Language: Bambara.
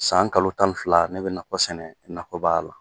San kalo tan ni fila ne bɛ nakɔ sɛnɛ nakɔba la.